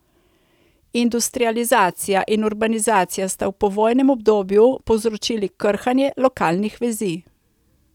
Industrializacija in urbanizacija sta v povojnem obdobju povzročili krhanje lokalnih vezi.